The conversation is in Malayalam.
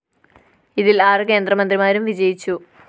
ഇതില്‍ ആറു കേന്ദ്രമന്ത്രിമാരും വിജയിച്ചു